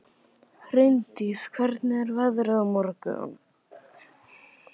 Hraundís, hvernig er veðrið á morgun?